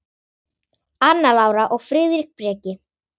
Anna Lára og Friðrik Breki.